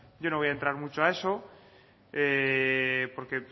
yo no voy a entra mucho a eso porque